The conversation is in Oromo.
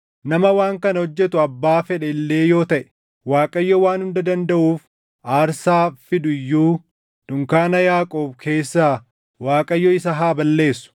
Nama waan kana hojjetu abbaa fedhe illee yoo taʼe, Waaqayyo Waan Hunda Dandaʼuuf aarsaa fidu iyyuu dunkaana Yaaqoob keessaa Waaqayyo isa haa balleessu.